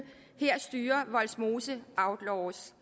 her styrer vollsmose outlaws